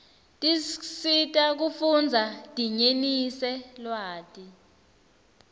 tiscsita kufundza dinyenise lwati